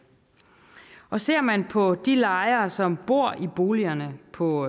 ser man på de lejere som bor i boligerne på